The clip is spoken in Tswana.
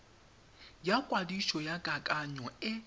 ya kwadiso ya kakanyo e